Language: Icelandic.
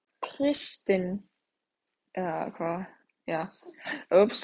Kristin, hvað geturðu sagt mér um veðrið?